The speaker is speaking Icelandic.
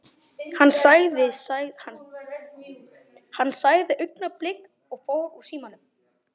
Hann sagði augnablik og fór úr símanum.